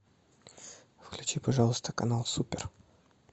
включи пожалуйста канал супер